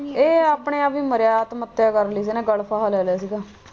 ਇਹ ਆਪਣੇ ਆਪ ਵੀ ਮਰਿਆ ਆਤਮ ਹੱਤਿਆ ਕਰ ਲਈ ਸੀ ਗਲ ਫਾਹਾ ਲੈ ਲਿਆ ਸੀਗਾ।